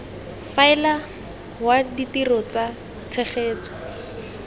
faela wa ditiro tsa tshegetso